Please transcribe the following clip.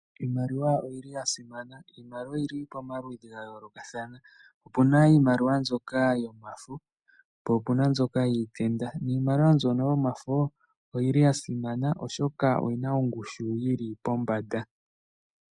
Iimaliwa oyi li ya simana. Iimaliwa oyi li pamaludhi ga yoolokathana. Opu na iimaliwa mbyoka yomafo, po opu na mbyoka yiitenda. Niimaliwa mbyoka yomafo oyi li ya simana, oshoka oyi na ongushu yi li pombanda.